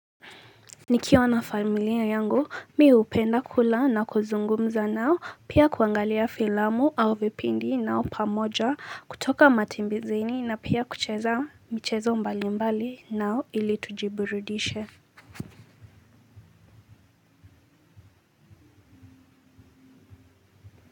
Nikiwa na familia yangu mi hupenda kula na kuzungumza nao pia kuangalia filamu au vipindi nao pamoja kutoka matembezeni na pia kucheza michezo mbali mbali nao ili tujiburidishe.